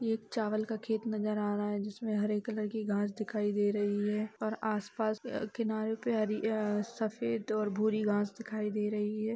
एक चावल का खेत नज़र आ रहा है जिसमें हरे कलर की घांस दिखाई दे रही है और आस-पास किनारों पे हरी अ सफ़ेद और भूरी घांस दिखाई दे रही है।